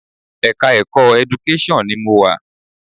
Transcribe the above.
Ẹ̀ka-ẹ̀kọ́ Education ni mo wà.